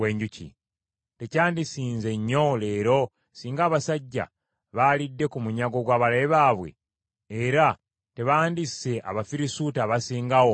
Tekyandisinze nnyo leero singa abasajja baalidde ku munyago gw’abalabe baabwe? Era tebandisse Abafirisuuti abasinga awo obungi?”